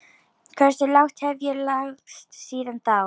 Hversu lágt hef ég lagst síðan þá?